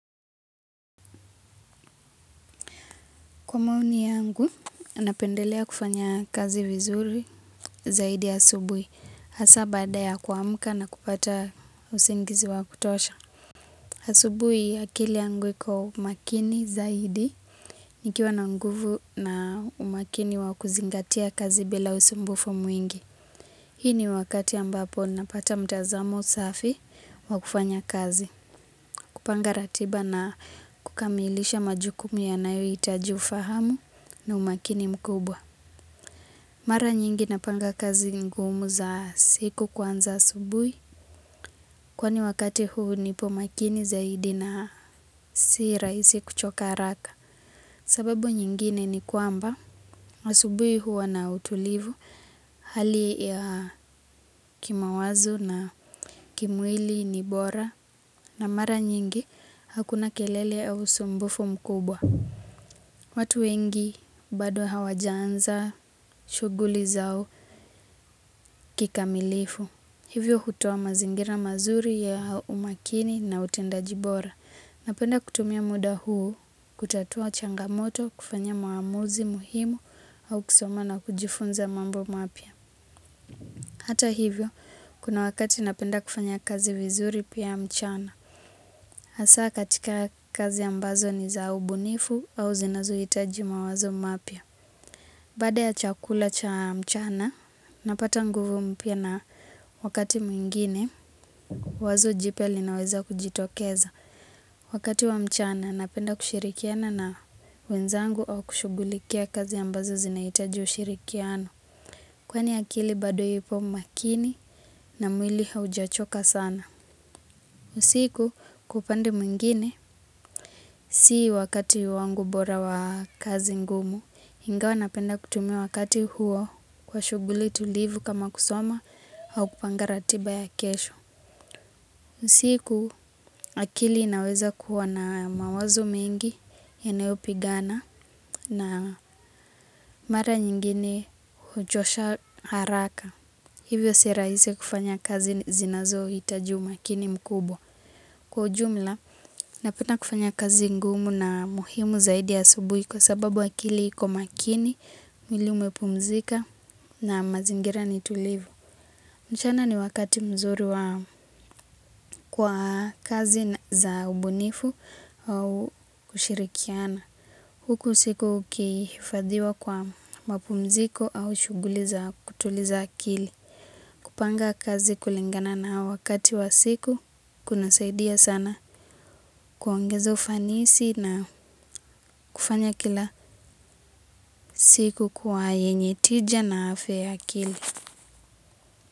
Kwa maoni yangu, napendelea kufanya kazi vizuri zaidi asubuhi. Hasa baada ya kuamka na kupata usingizi wa kutosha. Asubuhi akili yangu iko makini zaidi. Nikiwa na nguvu na umakini wa kuzingatia kazi bila usumbufu mwingi. Hii ni wakati ambapo napata mtazamo safi wa kufanya kazi. Kupanga ratiba na kukamilisha majukumu yanayohitaji ufahamu na umakini mkubwa. Mara nyingi napanga kazi ngumu za siku kwanza asubuhi. Kwani wakati huu nipo makini zaidi na si rahisi kuchoka haraka. Sababu nyingine ni kwamba, asubuhi huwa na utulivu, hali ya kimawazo na kimwili ni bora. Na mara nyingi, hakuna kelele au usumbufu mkubwa. Watu wengi, bado hawajaanza, shughuli zao, kikamilifu. Hivyo hutoa mazingira mazuri ya umakini na utendaji bora. Napenda kutumia muda huu, kutatua changamoto, kufanya maamuzi muhimu au kusoma na kujifunza mambo mapya. Hata hivyo, kuna wakati napenda kufanya kazi vizuri pia mchana. Hasa katika kazi ambazo ni za ubunifu au zinazohitaji mawazo mapya. Baada ya chakula cha mchana, napata nguvu mpya na wakati mwingine, wazo jipya linaweza kujitokeza. Wakati wa mchana, napenda kushirikiana na wenzangu au kushugulikia kazi ambazo zinahitaji ushirikiano. Kwani akili, bado ipo makini na mwili haujachoka sana. Usiku kwa upande mwingine, si wakati wangu bora wa kazi ngumu. Ingawa napenda kutumia wakati huo kwa shughuli tulivu kama kusoma au kupanga ratiba ya kesho. Siku akili inaweza kuwa na mawazo mengi yanayopigana na mara nyingine huchosha haraka. Hivyo si rahisi kufanya kazi zinazohitaji umakini mkubwa. Kwa ujumla, napenda kufanya kazi ngumu na muhimu zaidi asubuhi kwa sababu akili iko makini, mwili umepumzika, na mazingira ni tulivu. Mchana ni wakati mzuri kwa kazi za ubunifu au kushirikiana. Huku usiku ukihifadhiwa kwa mapumziko au shughuli za kutuliza akili. Kupanga kazi kulingana na wakati wa siku kunasaidia sana kuongeza ufanisi na kufanya kila siku kwa yenye tija na afya ya akili.